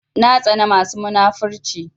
Na tsana masu munafurci